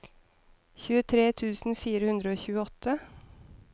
tjuetre tusen fire hundre og tjueåtte